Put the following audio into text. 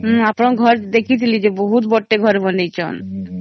ମୁ ଆପଣଙ୍କ ଘର ଦେଖିଥିଲି ଯେ ବହୁତ ବଡ଼ ଟେ ଘର ବନେଇଛନ